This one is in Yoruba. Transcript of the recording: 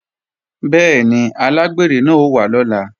Bẹ́ẹ̀ni, alágbèrè náà ó wá lọ́la